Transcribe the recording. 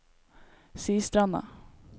Sistranda